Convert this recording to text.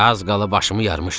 Az qala başımı yarmışdı.